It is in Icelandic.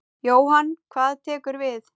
Jóhann: Hvað tekur við?